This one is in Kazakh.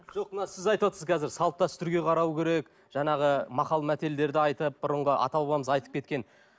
жоқ мына сіз айтып отырсыз қазір салт дәстүрге қарау керек жаңағы мақал мәтелдерді айтып бұрынғы ата бабамыз айтып кеткен